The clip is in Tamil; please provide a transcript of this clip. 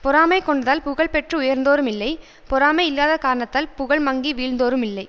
பொறாமை கொண்டதால் புகழ் பெற்று உயர்ந்தோரும் இல்லை பொறாமை இல்லாத காரணத்தால் புகழ் மங்கி வீழ்ந்தோரும் இல்லை